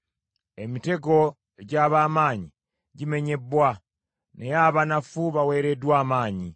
Emitego egy’ab’amaanyi gimenyebbwa naye abanafu baweereddwa amaanyi.